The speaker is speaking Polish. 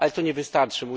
Ale to nie wystarczy.